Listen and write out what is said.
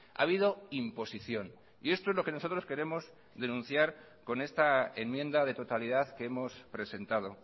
ha habido imposición y esto es lo que nosotros queremos denunciar con esta enmienda de totalidad que hemos presentado